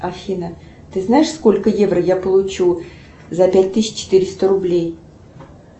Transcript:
афина ты знаешь сколько евро я получу за пять тысяч четыреста рублей